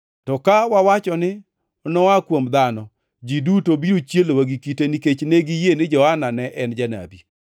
To ka wawacho ni, ‘Noa kuom dhano,’ ji duto biro chielowa gi kite, nikech ne giyie ni Johana ne en janabi.”